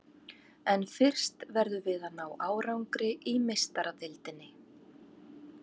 En fyrst verðum við að ná árangri í Meistaradeildinni.